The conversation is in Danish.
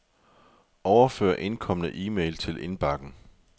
Overfør indkomne e-mail til indbakken.